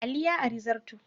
Ali ya ari zarto.